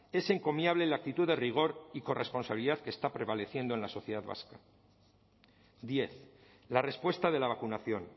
es encomiable la actitud de rigor y corresponsabilidad que está prevaleciendo en la sociedad vasca diez la respuesta de la vacunación